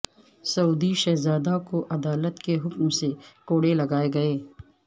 سعودی شہزادہ کو عدالت کے حکم سے کوڑے لگائے گئے